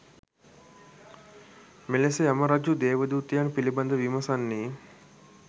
මෙලෙස යමරජු දේවදූතයන් පිළිබඳව විමසන්නේ